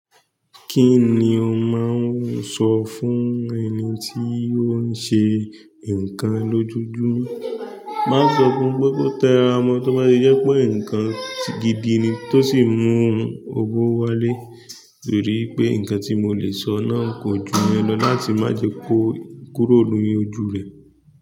Kín ni o máa n sọ fún ẹni tí ó ń ṣe nǹkan lójoojúmó. Máa sọ fún un pé kó tẹ ra mọ́, tó bá tí jẹ́ pé nǹkan gidi ni tó sì n mú un owó wálé. Torí wí pé nǹkan tí mo lè sọ náà kò ju ìyẹn lọ láti má jẹ kó kúrò ní ojú rẹ̀.